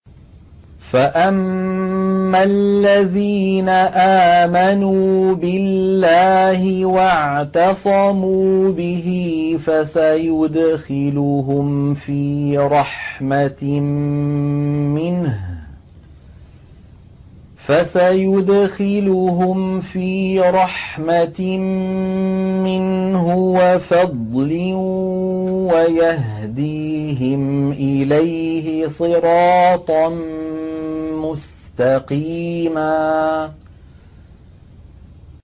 فَأَمَّا الَّذِينَ آمَنُوا بِاللَّهِ وَاعْتَصَمُوا بِهِ فَسَيُدْخِلُهُمْ فِي رَحْمَةٍ مِّنْهُ وَفَضْلٍ وَيَهْدِيهِمْ إِلَيْهِ صِرَاطًا مُّسْتَقِيمًا